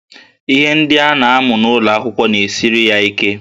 Ihe ndị a na-amụ n'ụlọ akwụkwọ na-esiri ya ike